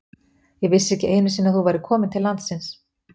Ég vissi ekki einu sinni að þú værir komin til landsins.